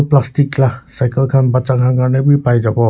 plastic lah cycle khan baccha khan karne be pai jabo.